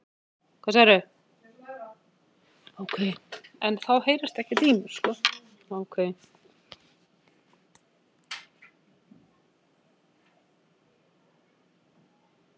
Þótt stjörnurnar haldi sig innan skífunnar er ekki það sama að segja um kúluþyrpingarnar.